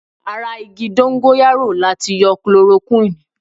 Ara igi Dóngóyárò láti yọ Kilorokúnìì.